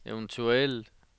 eventuel